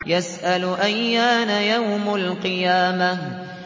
يَسْأَلُ أَيَّانَ يَوْمُ الْقِيَامَةِ